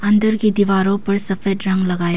अंदर कि दीवारों पर सफेद रंग लगा --